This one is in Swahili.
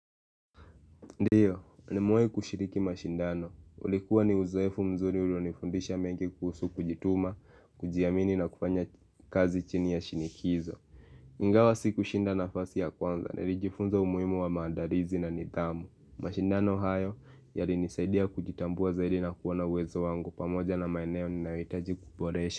Ndiyo, ni mwe kushiriki mashindano. Ulikuwa ni uzaefu mzuri ulionifundisha mengi kuhusu kujituma, kujiamini na kufanya kazi chini ya shinikizo. Ingawa sikushinda nafasi ya kwanza, nilijifunza umuimu wa maandarizi na nidhamu. Mashindano hayo, yari nisaidia kujitambua zaidi na kuona wezo wangu pamoja na maeneo ninawitaji kuboresha.